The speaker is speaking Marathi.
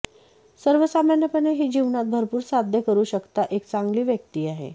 सर्वसामान्यपणे ही जीवनात भरपूर साध्य करू शकता एक चांगली व्यक्ती आहे